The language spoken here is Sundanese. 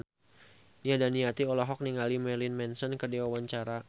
Nia Daniati olohok ningali Marilyn Manson keur diwawancara